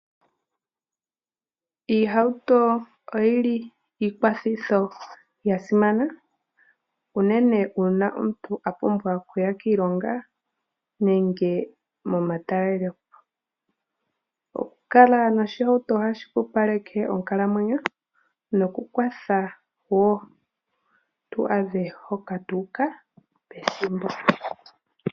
Iihauto oyili iikwathitho yasimana, unene una omuntu apumbwa okuya kiilonga nenge momatalelepo oku kala noshihauto ohashi pupaleke onkalamwenyo noku kwatha wo tu adhe hoka tuka pethimbo.